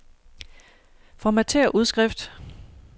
Formatér udskrift.